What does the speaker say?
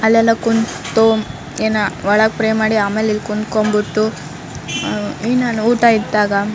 ಅಲ್ಲೆಲ್ಲೊ ಕುಂತೋ ಎನ ಒಳಗ ಪ್ರೇ ಮಾಡಿ ಆಮೇಲೆ ಇಲ್ಲಿ ಕುಂತ್ಕೊಂಡ್ ಬಿಟ್ಟು ಅಹ್ ಏನಾ ಊಟ ಇಟ್ಟ್ಯಾರ .